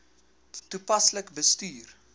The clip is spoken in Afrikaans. toepaslik bestuur